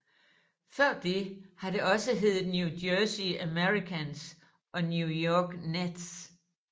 Før det har det også heddet New Jersey Americans og New York Nets